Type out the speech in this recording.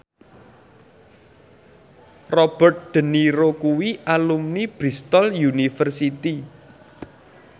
Robert de Niro kuwi alumni Bristol university